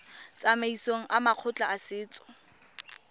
tsamaisong ya makgotla a setso